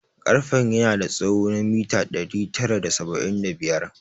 Karfen yana da tsawo na mita ɗari tara da saba'in da biyar